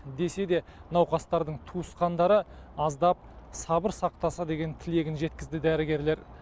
десе де науқастардың туысқандары аздап сабыр сақтаса деген тілегін жеткізді дәрігерлер